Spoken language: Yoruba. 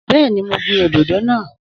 Bẹ́ẹ̀ni, mo gbin òdòdó náà